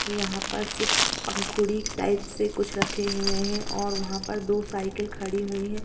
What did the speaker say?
यहां पर सिक्स पंखुड़ी टाइप से कुछ रखे हुये है और वहां पर दो साइकिल खड़ी हुई है।